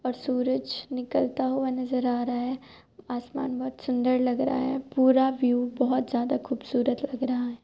और सुरज निकलता हुआ नजर आ रहा है। आसमान बहुत सुन्दर लग रहा है। पूरा व्यू बहुत ज़्यादा खूबसूरत लग रहा है।